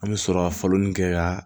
An bɛ sɔrɔ ka falen nin kɛ ka